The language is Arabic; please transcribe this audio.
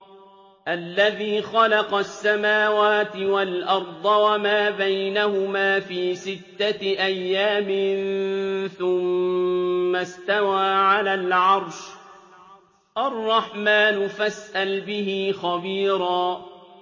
الَّذِي خَلَقَ السَّمَاوَاتِ وَالْأَرْضَ وَمَا بَيْنَهُمَا فِي سِتَّةِ أَيَّامٍ ثُمَّ اسْتَوَىٰ عَلَى الْعَرْشِ ۚ الرَّحْمَٰنُ فَاسْأَلْ بِهِ خَبِيرًا